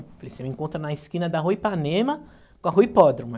Eu falei assim, você me encontra na esquina da Rua Ipanema, com a Rua Hipódromo.